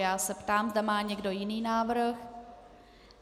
Já se ptám, zda má někdo jiný návrh.